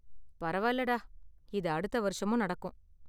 பரவாயில்லைடா, இது அடுத்த வருஷமும் நடக்கும்.